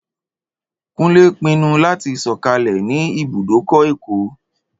Kúnlé pinnu láti sọ̀kalẹ̀ ní ibùdókọ̀ Èkó